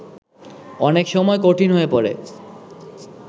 অনেক সময় কঠিন হয়ে পড়ে